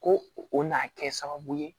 Ko o n'a kɛ sababu ye